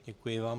Děkuji vám.